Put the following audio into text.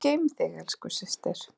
Guð geymi þig, elsku systir.